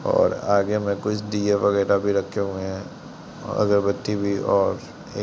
और आगे में कुछ दीये वगैराह भी रखे हुए हैं और अगरबत्ती भी और एक--